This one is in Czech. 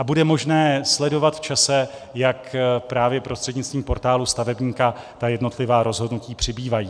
A bude možné sledovat v čase, jak právě prostřednictvím portálu stavebníka ta jednotlivá rozhodnutí přibývají.